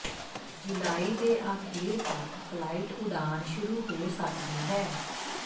ਜੁਲਾਈ ਦੇ ਆਖੀਰ ਤੱਕ ਫਲਾਈਟ ਉਡਾਣ ਸ਼ੁਰੂ ਹੋ ਸਕਦੀ ਹੈ